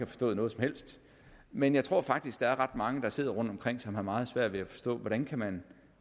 forstået noget som helst men jeg tror faktisk at der er ret mange der sidder rundt omkring som har meget svært ved at forstå hvordan man